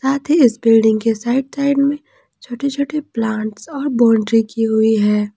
साथ ही इस बिल्डिंग के साइड साइड में छोटे छोटे प्लांट्स और बाउंड्री की हुई है।